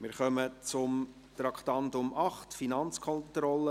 Wir kommen zum Traktandum 8, «Finanzkontrolle;